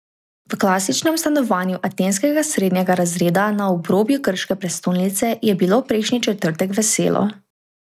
V klasičnem stanovanju atenskega srednjega razreda na obrobju grške prestolnice je bilo prejšnji četrtek veselo.